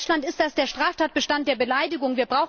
In Deutschland ist das der Straftatbestand der Beleidigung.